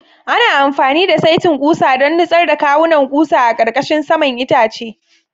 Ana amfani da saitin ƙusa don nutsar da kawunan ƙusa a ƙarƙashin saman itacen.